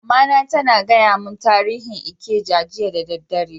Mama na tana gaya mun tarihin Ikeja jiya da dare.